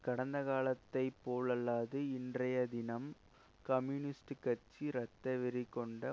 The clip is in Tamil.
கடந்தகாலத்தைபோலல்லாது இன்றையதினம் கம்யூனிஸ்ட்க் கட்சி இரத்தவெறிகொண்ட